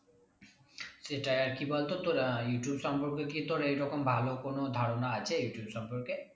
সেটাই আর কি বলতো তোর আহ ইউটিউব সম্পর্কে কি তোর এইরকম ভালো কোনো ধারণা আছে ইউটিউব সম্পর্কে?